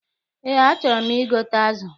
Eé, achọrọ m igote azụ.